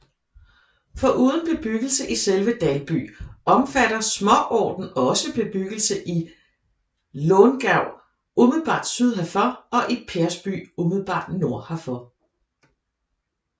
Foruden bebyggelse i selve Dalby omfatter småorten også bebyggelse i Långav umiddelbart syd herfor og i Persby umiddelbart nord herfor